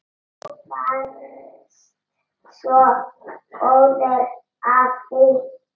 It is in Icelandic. Þú varst svo góður afi.